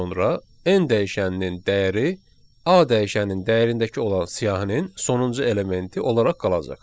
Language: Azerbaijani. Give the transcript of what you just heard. sonra n dəyişəninin dəyəri a dəyişənin dəyərindəki olan siyahının sonuncu elementi olaraq qalacaq.